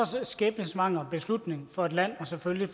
så skæbnesvanger beslutning for et land og selvfølgelig